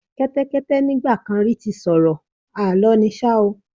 Kẹ́tẹ́kẹ́tẹ́ nígbà kan rí ti sọ̀rọ̀, Àlọ́ ni ṣá o.